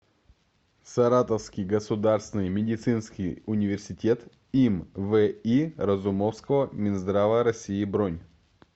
саратовский государственный медицинский университет им ви разумовского минздрава россии бронь